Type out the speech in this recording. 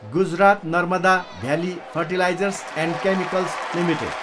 Gujarat Narmada valley fertilizers and chemicals limited